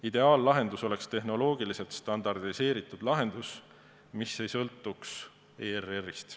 Ideaallahendus oleks tehnoloogiliselt standardiseeritud lahendus, mis ei sõltuks ERR-ist.